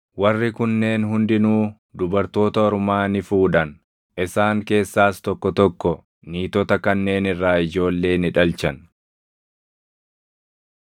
Warri kunneen hundinuu dubartoota ormaa ni fuudhan; isaan keessaas tokko tokko niitota kanneen irraa ijoollee ni dhalchan.